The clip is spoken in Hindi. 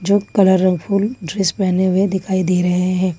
जो कलरफुल ड्रेस पहने हुए दिखाई दे रहे हैं।